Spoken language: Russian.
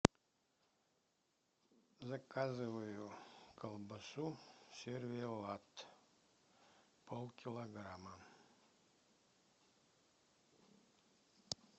заказываю колбасу сервелат полкилограмма